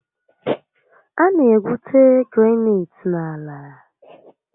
A na egwute granaịtị n'ala